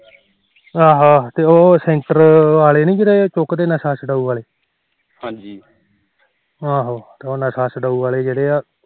ਆਹੋ ਆਹੋ ਤੇ ਉਹ ਸੈਂਟਰ ਵਾਲੇ ਨੀ ਚੁਕਦੇ ਜਿਹੜੇ ਨਸ਼ਾ ਛਡਾਓ ਵਾਲੇ ਆਹੋ ਉਹ ਨਸ਼ਾ ਛਡਾਓ ਵਾਲੇ ਜਿਹੜੇ ਐ